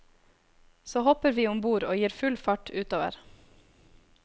Så hopper vi om bord og gir full fart utover.